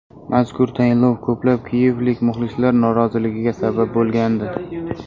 Mazkur tayinlov ko‘plab kiyevlik muxlislar noroziligiga sabab bo‘lgandi.